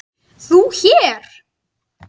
ÞÚ HÉR?